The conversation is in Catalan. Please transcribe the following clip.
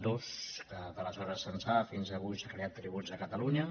dues que d’aleshores ençà fins avui s’ha creat tributs de catalunya